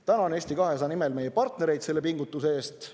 Tänan Eesti 200 nimel meie partnereid selle pingutuse eest!